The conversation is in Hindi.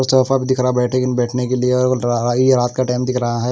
सोफा भी दिख रहा बैठे बैठने के लिए और ये रात का टाइम दिख रहा है।